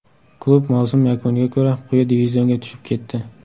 Klub mavsum yakuniga ko‘ra, quyi divizionga tushib ketdi.